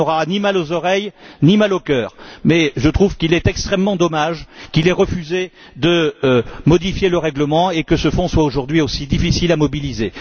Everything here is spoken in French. Il n'aura ni mal aux oreilles, ni mal au cœur, mais je trouve qu'il est extrêmement dommage qu'il ait refusé de modifier le règlement et que ce fonds soit aujourd'hui si difficile à mobiliser.